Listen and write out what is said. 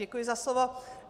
Děkuji za slovo.